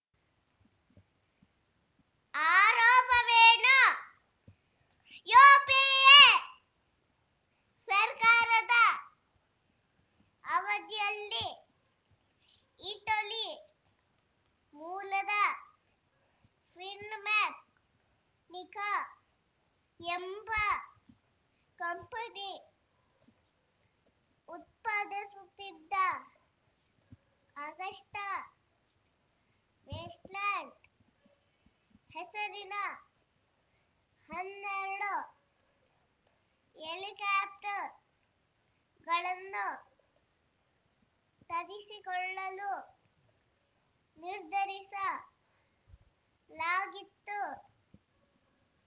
ಆರೋಪವೇನು UPA ಸರ್ಕಾರದ ಅವಧಿಯಲ್ಲಿ Italy ಮೂಲದ ಫಿನ್‌ಮೆಕ್ಯಾ ನಿಕಾ ಎಂಬ ಕಂಪನಿ ಉತ್ಪಾದಿಸುತ್ತಿದ್ದ ಅಗಸ್ಟಾ ವೆಸ್ಟ್‌ಲ್ಯಾಂಡ್‌ ಹೆಸರಿನ ಹನ್ನೆರಡು ಹೆಲಿಕಾಪ್ಟರ್‌ಗಳನ್ನು ತರಿಸಿಕೊಳ್ಳಲು ನಿರ್ಧರಿಸ ಲಾಗಿತ್ತು